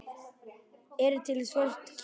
Er til svört kista?